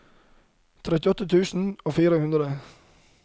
trettiåtte tusen og fire hundre